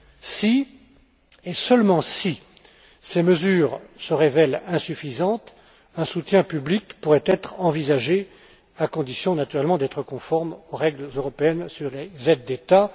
Si, et seulement si, ces mesures se révèlent insuffisantes, un soutien public pourrait être envisagé, à condition naturellement d'être conforme aux règles européennes sur les aides d'État.